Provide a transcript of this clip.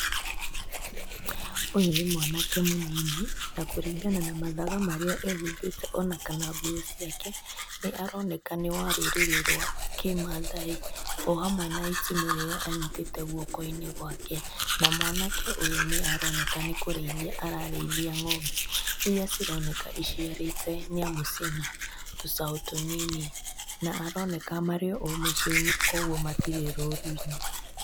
Ũyũ nĩ mwanake mũnini na kũringana na mathaga marĩa ehumbĩte ona kana nguo ciake nĩ aroneka nĩ wa rũrĩrĩ rwa kĩmathai, o hamwe na itimũ rĩrĩa anyitĩte guoko-inĩ gwake. Na mwanake ũyũ nĩaroneka nĩ kũrĩithia ararĩithia ng'ombe, iria cironeka iciarĩte nĩamu ciĩna tũcaũ tũnini. Na aroneka marĩ o mũcii-inĩ koguo matirĩ rũru-inĩ.